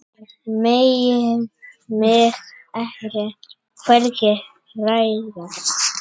Megi mig hvergi hræra.